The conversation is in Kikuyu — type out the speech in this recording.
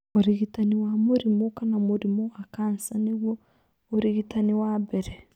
Ũrigitani wa mũrimũ kana mũrimũ wa kansa nĩguo ũrigitani wa mbere.